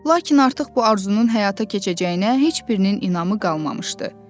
Lakin artıq bu arzunun həyata keçəcəyinə heç birinin inamı qalmamışdı.